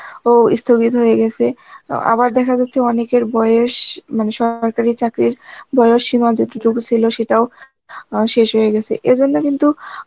ও ইস্থগিত হয়ে গেসে, আবার দেখা যাচ্ছে অনেকের বয়স মানে সরকারি চাকরির বয়স সীমাও যতটুকু ছিল সেটাও আ শেষ হয়ে গেছে এজন্যে কিন্তু